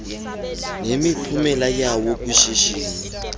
nemiphumela yawo kwishishini